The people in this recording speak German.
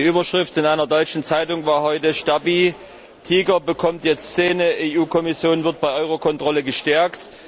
Die Überschrift in einer deutschen Zeitung war heute Stabi Tiger bekommt jetzt Zähne, EU Kommission wird bei Eurokontrolle gestärkt.